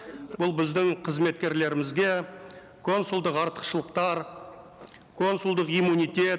бұл біздің қызметкерлерімізге консулдық артықшылықтар консулдық иммунитет